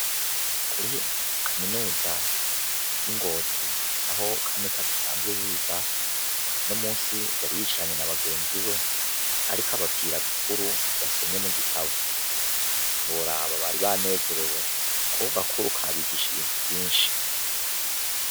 Muri kaminuza y'ingozi aho kamikazi asanzwe yiga, uno musi yari yicaranye n'a bagenziwe, ariko ababwira agakuru yasomye mugitabo, ntiworaba bari banezerewe kuko ako gakuru kabigishije vyinshi.